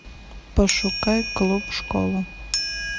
пошукай клуб школа